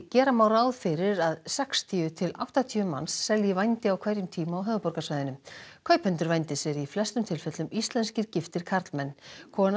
gera má ráð fyrir að sextíu til áttatíu manns selji vændi á hverjum tíma á höfuðborgarsvæðinu kaupendur vændis eru í flestum tilfellum íslenskir giftir karlmenn kona